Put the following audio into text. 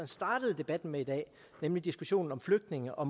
startede debatten med i dag nemlig diskussionen om flygtninge og